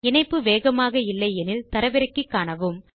இணைப்பு வேகமாக இல்லை எனில் அதை தரவிறக்கி காணுங்கள்